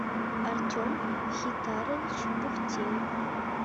артем мхитарович бухтеев